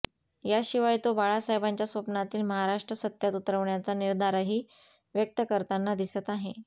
याशिवाय तो बाळासाहेबांच्या स्वप्नातील महाराष्ट्र सत्यात उतरवण्याचा निर्धारही व्यक्त करताना दिसत आहे